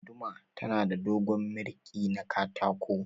Guduma tana da dogon mirƙi na katako.